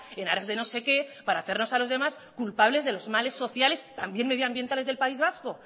en aras de no sé qué para hacernos a los demás culpables de los males sociales también medioambientales del país vasco